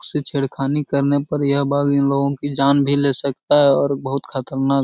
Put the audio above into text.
उससे छेड़खानी करने पर यह बाघ इन लोगों की जान भी ले सकता है और बहुत खतरनाक --